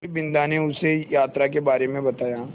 फिर बिन्दा ने उसे यात्रा के बारे में बताया